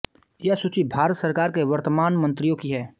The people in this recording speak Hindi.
यह सूची भारत सरकार के वर्तमान मंत्रियों की है